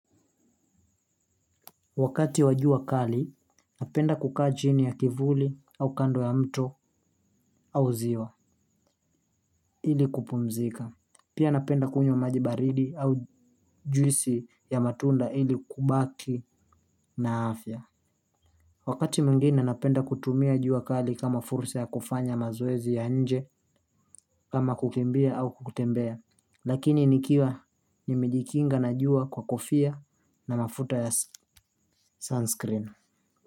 Wakati wajua kali napenda kukaa chini ya kivuli au kando ya mto au ziwa ili kupumzika pia napenda kunywa maji baridi au juisi ya matunda ili kubaki na afia. Wakati mgine napenda kutumia jua kali kama fursa ya kufanya mazowezi ya nje kama kukimbia au kutembea. Lakini nikiwa nimejikinga na jua kwa kofia na mafuta ya sunscreen skrin.